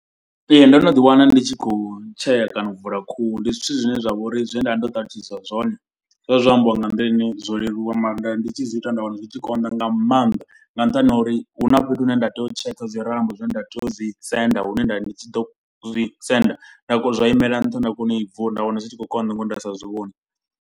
Ee ndo no ḓi wana ndi tshi khou tshea kana u vula khuhu. Ndi zwithu zwine zwa vha uri zwe nda vha ndo ṱalutshedziswa zwone. Zwovha zwo ambiwa nga nḓila ine zwo leluwa maanḓa ndi tshi zwi ita nda wana zwi tshi konḓa nga maanḓa. Nga nṱhani ha uri hu na fhethu hune nda tea u tsheka zwi rambo zwine nda tea u dzi senda. Hune nda ndi tshi ḓo zwi senda zwa imela nṱha nda kona u i vula nda wana zwi tshi khou konḓa ngauri nda sa zwi vhoni.